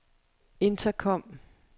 intercom